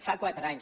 fa quatre anys